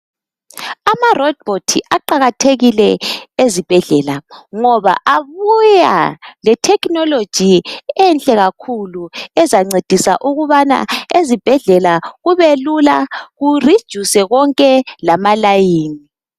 Ama robot aqakathekile ezibhedlela ngoba abuya lethekhiniloji enhle kakhulu ezancedisa ukubana ezibhedlela kube lula ku reduce konke lama layini.